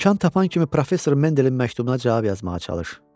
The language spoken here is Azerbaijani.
İmkan tapan kimi professor Mendelin məktubuna cavab yazmağa çalış.